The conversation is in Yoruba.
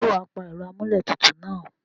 Ǹjẹ́ wà á pa ẹ̀rọ amúlé tutù náà?